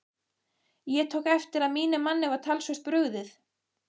Ég tók eftir að mínum manni var talsvert brugðið.